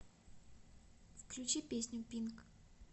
включи песню пинк